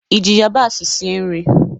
I ji yabasị sie nri?